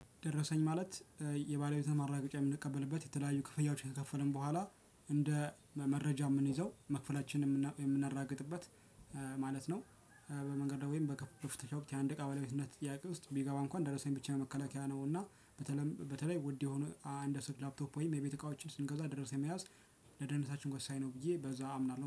ደረሰኝ ማለት የባለቤቱን ማረጋገጫ የምንቀበልበት የተለያዩ ክፍያዎች ከከፈልን በኋላ እንደ መረጃ የምንይዘው መክፈላችንን የምናራግጥበት ማለት ነው። በመንገድ ወይም በፍተሻ ወቅት የአንድ እቃ ባለቤትነት ጥያቄ ውስጥ ቢገባ እንኳን ደረሰኝ ብቻ መከላከያ ነው። እና በተለይ በተለይ ውድ የሆነ አንድ አስር ላፕቶፕ ወይም የቤት እቃዎችን ስንገዛ ደረሰኝ መያዝ ለደህንነታችን ወሳኝ ነው። ብዬ በዛ አምናለሁ